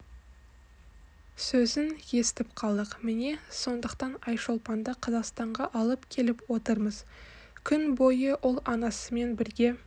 сөзін естіп қалдық міне сондықтан айшолпанды қазақстанға алып келіп отырмыз күн бойы ол анасымен бірге